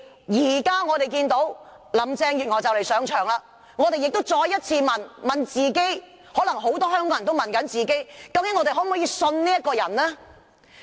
如今，林鄭月娥即將上任，於是我們再問自己，很多香港人也在問自己，究竟可否相信這個人？